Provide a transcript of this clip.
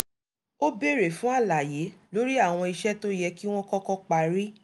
ó béèrè fún àlàyé lórí àwọn iṣẹ́ tó yẹ kí wọ́n kọ́kọ́ parí